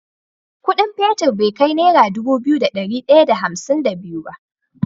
Ƙudin fetir be kai naira Dubu biyu da dari daya da hamsin da biyu ba